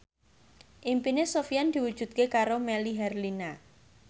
impine Sofyan diwujudke karo Melly Herlina